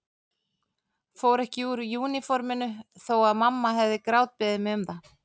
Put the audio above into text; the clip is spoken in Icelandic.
Fór ekki úr úniforminu þó að mamma hefði grátbeðið mig um það.